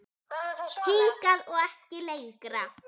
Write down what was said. Hingað og ekki lengra!